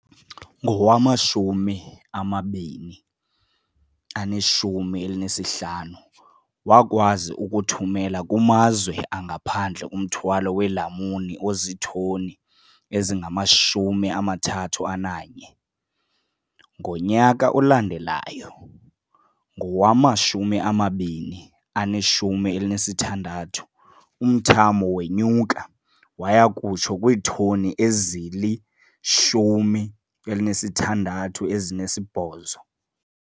Ngowama-2015, wakwazi ukuthumela kumazwe angaphandle umthwalo weelamuni ozitoni ezingama-31. Ngonyaka olandelayo, ngowama-2016, umthamo wenyuka waya kutsho kwiitoni ezili-168.